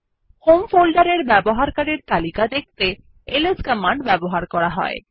home ফোল্ডারের ব্যবহারকারীদের তালিকা দেখতে এলএস কমান্ড ব্যবহার করা হয়